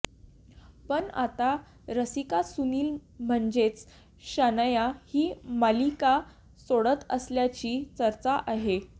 पण आता रसिका सुनील म्हणजेच शनाया ही मालिका सोडत असल्याची चर्चा आहे